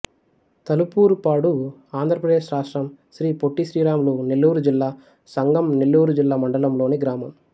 తలుపూరుపాడు ఆంధ్ర ప్రదేశ్ రాష్ట్రం శ్రీ పొట్టి శ్రీరాములు నెల్లూరు జిల్లా సంగం నెల్లూరు జిల్లా మండలం లోని గ్రామం